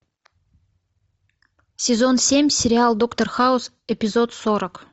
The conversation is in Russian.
сезон семь сериал доктор хаус эпизод сорок